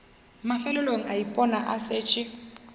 mafelelong a ipona a šetše